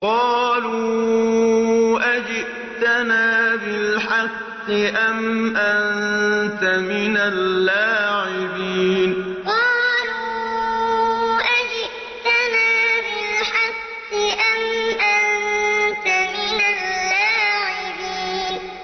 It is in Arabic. قَالُوا أَجِئْتَنَا بِالْحَقِّ أَمْ أَنتَ مِنَ اللَّاعِبِينَ قَالُوا أَجِئْتَنَا بِالْحَقِّ أَمْ أَنتَ مِنَ اللَّاعِبِينَ